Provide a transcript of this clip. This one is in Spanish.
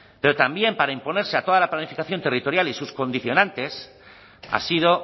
pero también para imponerse a toda la planificación territorial y sus condicionantes ha sido